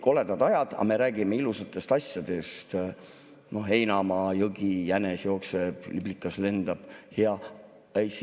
koledad ajad, aga me räägime ilusatest asjadest: heinamaa ja jõgi, jänes jookseb ja liblikas lendab.